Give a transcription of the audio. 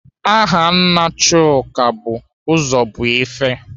Aha nna Chuka bụ Ụzọbuife.